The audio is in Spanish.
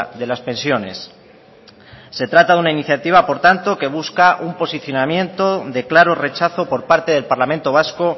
de las pensiones se trata de una iniciativa por tanto que busca un posicionamiento de claro rechazo por parte del parlamento vasco